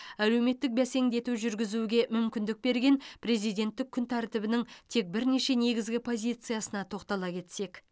әлеуметтік бәсеңдету жүргізуге мүмкіндік берген президенттік күн тәртібінің тек бірнеше негізгі позициясына тоқтала кетсек